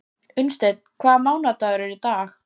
Unnsteinn, hvaða mánaðardagur er í dag?